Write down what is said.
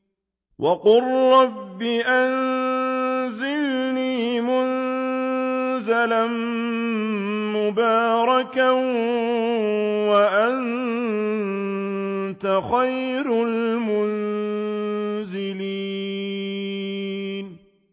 وَقُل رَّبِّ أَنزِلْنِي مُنزَلًا مُّبَارَكًا وَأَنتَ خَيْرُ الْمُنزِلِينَ